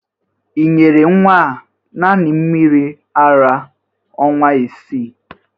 Ị nyere nnwa a naanị mmiri ara ọnwa isii!?